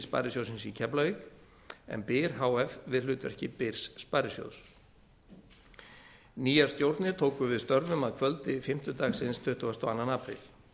sparisjóðsins í keflavík en byr h f við hlutverki byrs sparisjóðs nýjar stjórnir tóku við störfum að kvöldi fimmtudagsins tuttugasta og annan apríl